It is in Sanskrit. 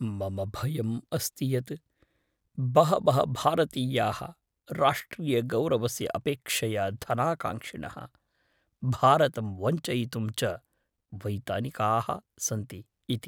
मम भयम् अस्ति यत् बहवः भारतीयाः राष्ट्रियगौरवस्य अपेक्षया धनाकाङ्क्षिणः, भारतं वञ्चयितुं च वैतनिकाः सन्ति इति।